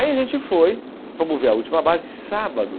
Aí a gente foi, fomos ver a última base, sábado.